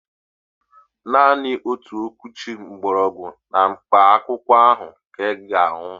Naanị otu okwuchi gbọrọgwụ na mkpa akwụkwọ ahụ ka ị ga-aṅụ